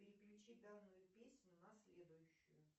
переключи данную песню на следующую